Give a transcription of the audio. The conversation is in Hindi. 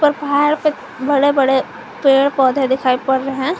और पहाड़ पे बड़े बड़े पेड़ पौधे दिखाई पड़ रहे हैं।